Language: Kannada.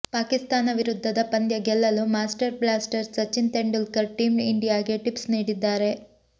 ಪಾಕಿಸ್ತಾನ ವಿರುದ್ಧದ ಪಂದ್ಯ ಗೆಲ್ಲಲು master blaster Sachin Tendulkar team ಇಂಡಿಯಾಗೆ ಟಿಪ್ಸ್ ನೀಡಿದ್ದಾರೆ